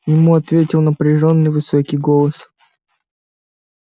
ему ответил напряжённый высокий голос